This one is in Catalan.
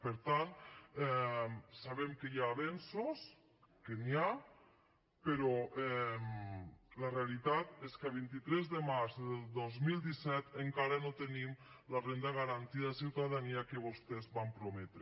per tant sabem que hi ha avenços que n’hi ha però la realitat és que a vint tres de març del dos mil disset encara no tenim la renda garantida de ciutadania que vostès van prometre